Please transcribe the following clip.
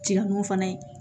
Jɛkulu fana ye